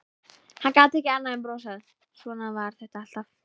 Hann gat ekki annað en brosað, svona var þetta alltaf.